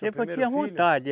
Tempo eu tinha vontade.